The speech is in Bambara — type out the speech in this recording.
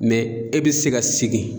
e bɛ se ka segin.